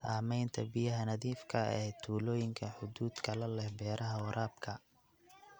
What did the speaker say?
Saamaynta biyaha nadiifka ah ee tuulooyinka xuduudka la leh beeraha waraabka.